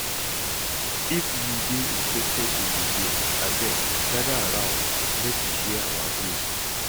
If you dey interested in the game abeg gather around make we share our groups